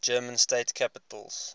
german state capitals